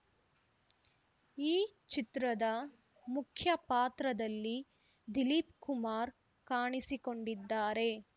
ಈ ಚಿತ್ರದ ಮುಖ್ಯ ಪಾತ್ರದಲ್ಲಿ ದಿಲೀಪ್‌ ಕುಮಾರ್‌ ಕಾಣಿಸಿಕೊಂಡಿದ್ದಾರೆ